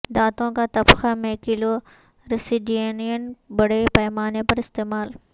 دانتوں کا طبقہ میں کلورسیڈینین بڑے پیمانے پر استعمال